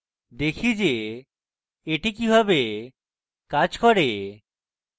দেখি যে এটি কিভাবে কাজ করে